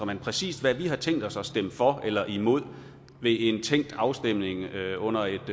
men præcis hvad vi har tænkt os at stemme for eller imod ved en tænkt afstemning under et